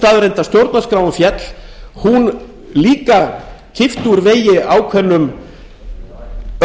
staðreynd að stjórnarskráin féll þá kippti hún úr vegi ákveðnum erfiðleikum fyrir okkur